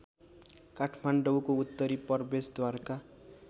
काठमाडौँको उत्तरी प्रवेशद्वारका